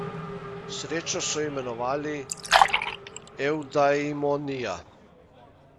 Srečo so imenovali eudaimonia.